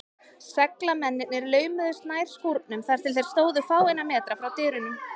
Seglamennirnir laumuðust nær skúrnum, þar til þeir stóðu fáeina metra frá dyrunum.